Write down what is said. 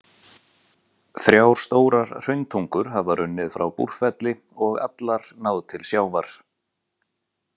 Þrjár stórar hrauntungur hafa runnið frá Búrfelli og allar náð til sjávar.